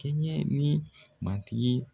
Kɛɲɛ ni matigi